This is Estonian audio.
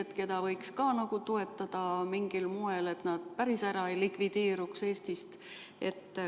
Ka neid võiks toetada mingil moel, et nad Eestist päris ära ei likvideeruks.